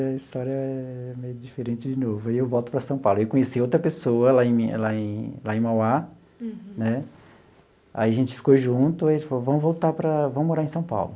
Aí a história é meio diferente de novo, aí eu volto para São Paulo, aí eu conheci outra pessoa lá em lá em lá em Mauá, né, aí a gente ficou junto, aí ele falou, vamos voltar para, vamos morar em São Paulo.